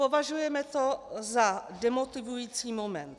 Považujeme to za demotivující moment.